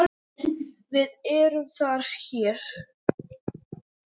VIÐ ERUM ÞAR HÉR